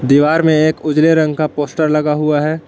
दीवार में एक उजले रंग का पोस्टर लगा हुआ है।